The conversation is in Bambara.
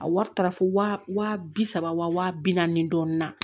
A wari taara fo wa bi saba wa bi naani dɔɔnin na